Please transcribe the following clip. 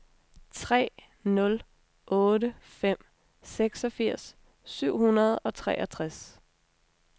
tre nul otte fem seksogfirs syv hundrede og treogtres